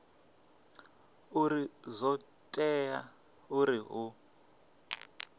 uri zwo tea uri hu